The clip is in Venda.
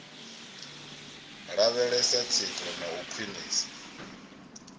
lavhelesa tsiko na u khwiniswa